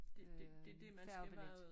Øh færgebillet